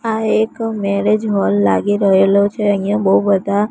આ એક marriage hall લાગી રહેલો છે અહીંયા બહુ બધા--